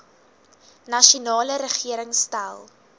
nasionale regering stel